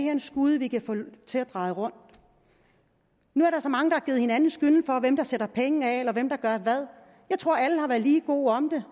er en skude vi kan få til at dreje rundt nu er der så mange der har givet hinanden skylden for hvem der sætter penge af eller hvem der gør hvad jeg tror alle har været lige gode om det